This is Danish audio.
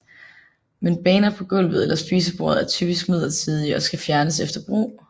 Men baner på gulvet eller spisebordet er typisk midlertidige og skal fjernes efter brug